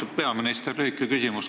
Austatud peaminister!